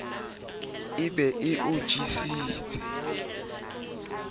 e be e o jesetse